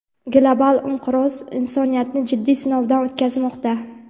global inqiroz insoniyatni jiddiy sinovdan o‘tkazmoqda.